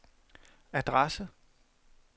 adresse